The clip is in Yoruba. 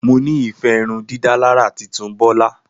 Mo ni ife irundidalara titun Bola.